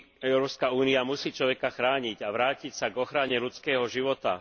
Európska únia musí človeka chrániť a vrátiť sa k ochrane ľudského života.